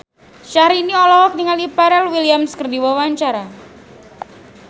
Syahrini olohok ningali Pharrell Williams keur diwawancara